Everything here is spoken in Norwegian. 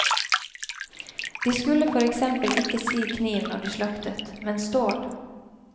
De skulle for eksempel ikke si kniv når de slaktet, men stål.